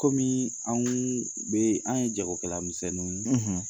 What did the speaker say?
Kɔmi, anw bɛ anw ye jagokɛlamisɛniw ye